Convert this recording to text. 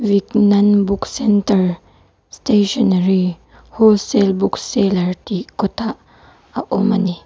vignan book centre stationary wholesale book seller tih kawtah a awm a ni.